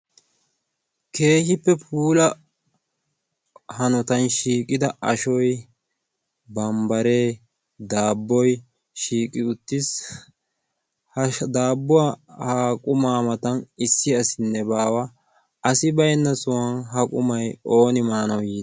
keehippe puula hanotan shiiqida ashoy bambbaree daabboy shiiqi uttiis .ha daabbuwaa haaqumaa matan issi asinne baawa asi bainna suwwan ha qumay ooni maanawu yii?